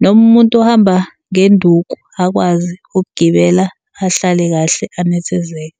noma umuntu ohamba ngenduku akwazi ukugibela ahlale kahle anethezeke.